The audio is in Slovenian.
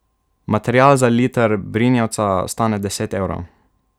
Material za liter brinjevca stane deset evrov.